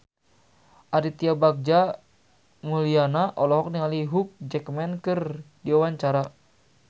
Aditya Bagja Mulyana olohok ningali Hugh Jackman keur diwawancara